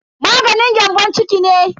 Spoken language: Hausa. Maganin gyambon ciki ne.